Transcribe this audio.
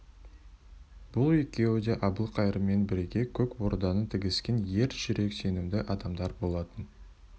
бұл екеуі де әбілқайырмен бірге көк орданы тігіскен ер жүрек сенімді адамдар болатын